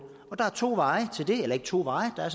der er to veje til det eller ikke to veje der er